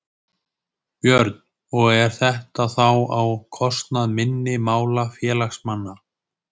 Björn: Og er þetta þá á kostnað minni mála félagsmanna?